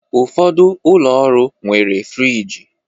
Ụfọdụ ụlọ ọrụ nwere friji